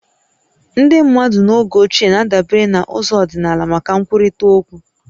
Ndị mmadụ n'oge ochie na-adabere na ụzọ ọdịnala maka nkwurịta okwu